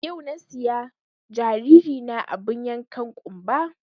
Yau na siya jariri na abun yankan ƙunba